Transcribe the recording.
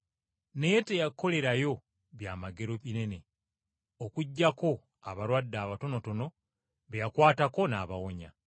Naye teyakolerayo byamagero bingi okuggyako abalwadde abatonotono be yakwatako n’abawonya.